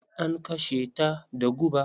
An kashe ta da guba.